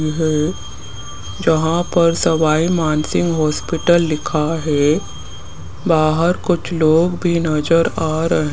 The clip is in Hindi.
यह एक जहां सवाई मानसिंह हॉस्पिटल लिखा है बाहर कुछ लोग भी नजर आ रहे --